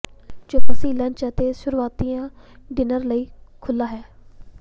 Joe ਫੱਸੀ lunch ਅਤੇ ਸ਼ੁਰੂਆਤੀ ਡਿਨਰ ਲਈ ਖੁੱਲ੍ਹਾ ਹੈ